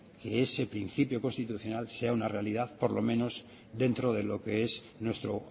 ese principio constitucional sea una realidad por lo menos dentro de lo que es nuestro